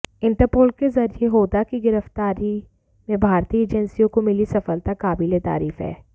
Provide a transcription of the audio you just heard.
interpole के जरिये होदा की गिरफ्तारी में भारतीय एजेंसियों को मिली सफलता काबिलेतारीफ है